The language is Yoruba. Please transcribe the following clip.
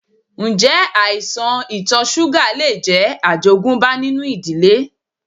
Ǹjẹ́ àìsàn ito súgà lè jẹ́ àjogúnbá nínú ìdílé?